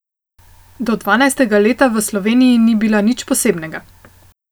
Do dvanajstega leta v Sloveniji ni bila nič posebnega.